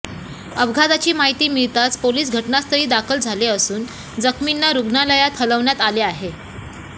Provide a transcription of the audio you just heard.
अपघाताची माहिती मिळताच पोलिस घटनास्थळी दाखल झाले असून जखमींना रुग्णालयात हलवण्यात आले आहे